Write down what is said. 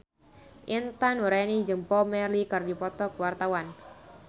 Intan Nuraini jeung Bob Marley keur dipoto ku wartawan